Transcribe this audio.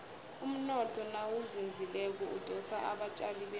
umnotho nawuzinzileko udosa abatjali bemali